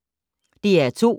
DR2